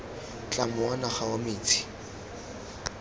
tlamo wa naga wa metsi